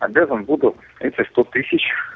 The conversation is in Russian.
обязан буду эти сто тысяч